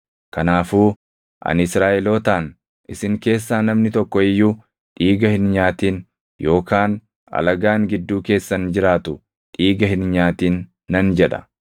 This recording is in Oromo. Kanaafuu ani Israaʼelootaan, “Isin keessaa namni tokko iyyuu dhiiga hin nyaatin yookaan alagaan gidduu keessan jiraatu dhiiga hin nyaatin” nan jedha.